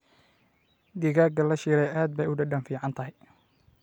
Digaagga la shiilay aad bay u dhadhan fiican tahay.